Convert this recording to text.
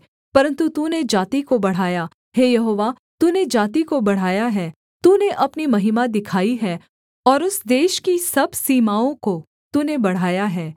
परन्तु तूने जाति को बढ़ाया हे यहोवा तूने जाति को बढ़ाया है तूने अपनी महिमा दिखाई है और उस देश के सब सीमाओं को तूने बढ़ाया है